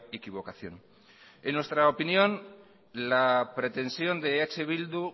equivocación en nuestra opinión la pretensión de eh bildu